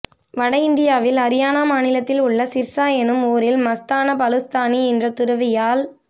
வடஇந்தியாவில் அரியானா மாநிலத்தில் உள்ள சிர்சா என்னும் ஊரில் மஸ்தான பலுஸ்த்தானி என்ற துறவியால்